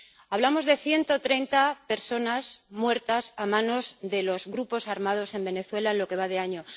Hablamos de 130 personas muertas a manos de los grupos armados en Venezuela en lo que va de año.